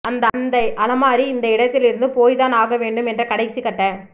அந்த அலமாரி இந்த இடத்திலிருந்து போய்தான் ஆக வேண்டும் என்ற கடைசிகட்ட